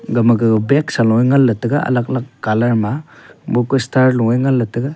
gama gama bagsa luya ngan taiga colour ma a bu ku star ngan ley taiga.